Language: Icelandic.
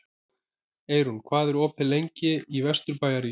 Eyrún, hvað er opið lengi í Vesturbæjarís?